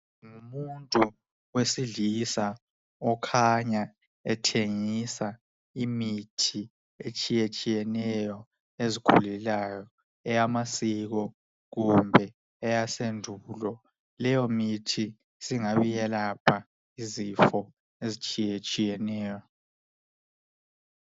Ngumuntu owesilisa okhanya ethengisa imithi etshiyetshiyeneyo ezikhulelayo eyamasiko kumbe eyasendulo. Leyo mithi singabe iselapha izifo ezitshiyetshiyeneyo.